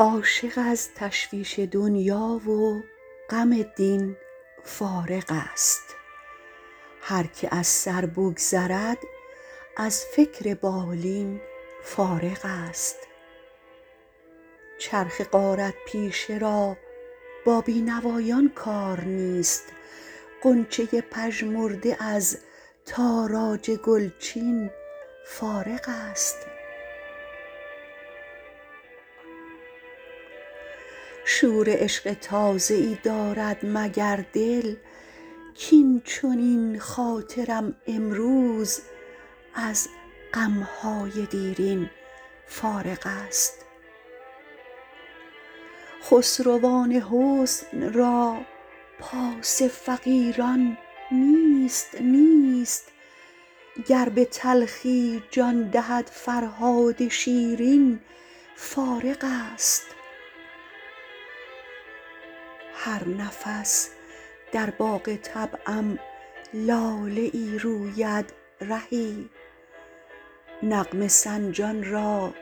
عاشق از تشویش دنیا و غم دین فارغ است هرکه از سر بگذرد از فکر بالین فارغ است چرخ غارت پیشه را با بی نوایان کار نیست غنچه پژمرده از تاراج گلچین فارغ است شور عشق تازه ای دارد مگر دل کاین چنین خاطرم امروز از غم های دیرین فارغ است خسروان حسن را پاس فقیران نیست نیست گر به تلخی جان دهد فرهاد شیرین فارغ است هر نفس در باغ طبعم لاله ای روید رهی نغمه سنجان را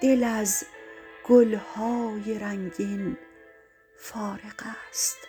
دل از گل های رنگین فارغ است